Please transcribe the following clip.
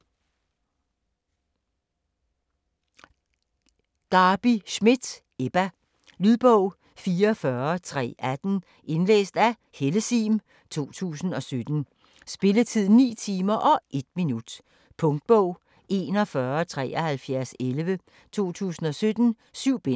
Schmidt, Garbi: Ebba Lydbog 44318 Indlæst af Helle Sihm, 2017. Spilletid: 9 timer, 1 minut. Punktbog 417311 2017. 7 bind.